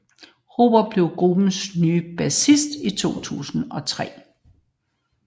Robert Trujillo blev gruppens nye bassist i 2003